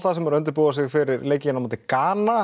sem eru a undirbúa sig fyrir leik við Gana